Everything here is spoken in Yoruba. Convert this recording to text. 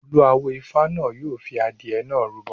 Olú awo Ifá náà yóò fi adìẹ náà rúbọ.